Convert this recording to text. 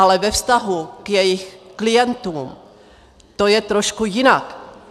Ale ve vztahu k jejich klientům to je trošku jinak.